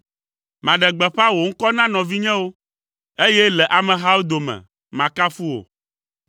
Maɖe gbeƒã wò ŋkɔ na nɔvinyewo, eye le amehawo dome, makafu wò.